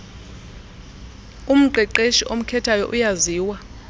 umqeqeshi omkhethayo uyaziwa